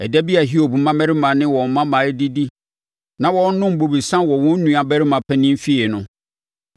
Ɛda bi a Hiob mmammarima ne ne mmammaa redidi na wɔrenom bobesa wɔ wɔn nuabarima panin fie no,